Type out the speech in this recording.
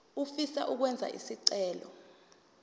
ofisa ukwenza isicelo